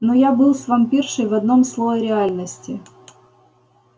но я был с вампиршей в одном слое реальности